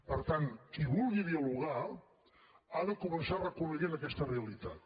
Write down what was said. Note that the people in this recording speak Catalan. per tant qui vulgui dialogar ha de començar reconeixent aquesta realitat